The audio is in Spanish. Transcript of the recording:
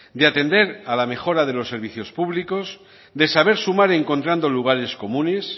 de atender a la mejora de los servicios públicos de saber sumar encontrando lugares comunes